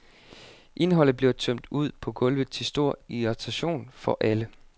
Indholdet bliver tømt ud på gulvet til stor irritation for alle.